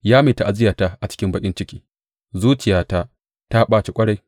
Ya mai ta’aziyyata a cikin baƙin ciki, zuciyata ta ɓaci ƙwarai.